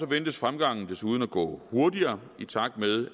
ventes fremgangen desuden at gå hurtigere i takt med